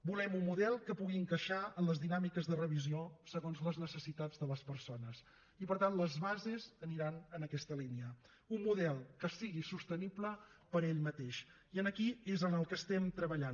volem un model que pugui encaixar en les dinàmiques de revisió segons les necessitats de les persones i per tant les bases aniran en aquesta línia un model que sigui sostenible per ell mateix i aquí és en on estem treballant